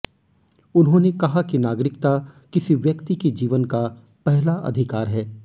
उन्होंने कहा कि नागरिकता किसी व्यक्ति के जीवन का पहला अधिकार है